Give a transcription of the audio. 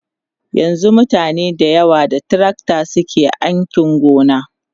yanzun mutane da yawa da tracta suke ainki gona